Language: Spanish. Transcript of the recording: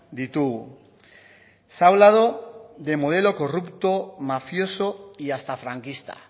ditugu se ha hablado de modelo corrupto mafioso y hasta franquista